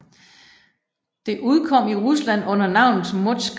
Det udkom i Rusland under navnet Иллюстрированная наука fra 2010